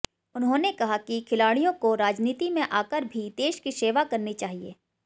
उन्होंने कहा कि खिलाड़ियों को राजनीति में आकर भी देश की सेवा करनी चाहिए